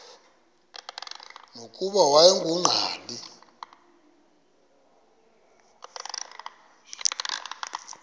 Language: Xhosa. nokuba wayengu nqal